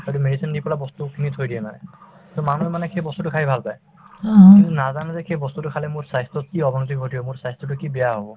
সেইটো medicine দি পেলাই বস্তু খিনি থৈ দিয়ে মানে to মানুহে মানে সেই বস্তুতো খায়ে ভাল পাই কিন্তু নাজানে যে সেই বস্তুতো খালে মোৰ স্বাস্থ্যত কি অৱনতি ঘটিব মোৰ স্বাস্থ্যতো কি বেয়া হব